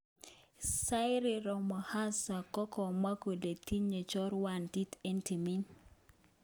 cyril Ramaphosa kokamwa kole tinye chorwatit en timit